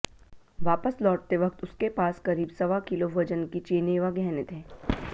वापस लौटते वक्त उसके पास करीब सवा किलो वजन की चेनें व गहने थे